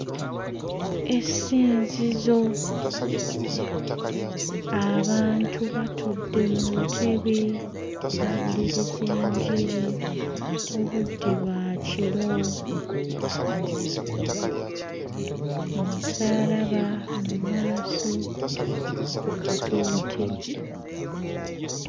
Essinzizo. Abantu batudde mu ntebe bawuliriza enjiri obudde bwa kiro. Omusaalaba mu maaso ku katuuti.